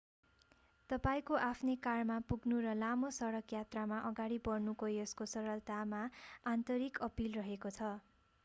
तपाईंको आफ्नै कारमा पुग्नु र लामो सडक यात्रामा अगाडि बढ्नुको यसको सरलतामा आन्तरिक अपील रहेको छ